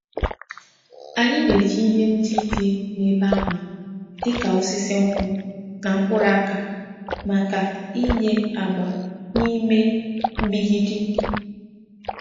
Anyị na-eji ihe ndị dị n’ebe ahụ dịka osisi nkwụ na mkpụrụ aka maka ịnye agba na ime mgbidi.